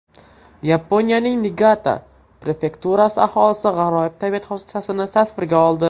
Yaponiyaning Niigata prefekturasi aholisi g‘aroyib tabiat hodisasini tasvirga oldi.